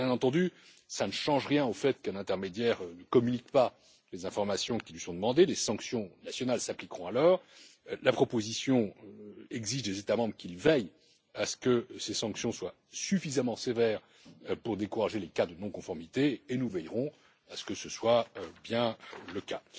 Bien entendu, cela ne change rien au fait que si un intermédiaire ne communique pas les informations qui lui sont demandées, des sanctions nationales s'appliqueront alors. La proposition exige des États membres qu'ils veillent à ce que ces sanctions soient suffisamment sévères pour décourager les cas de non conformité et nous veillerons à ce que ce soit bien le cas.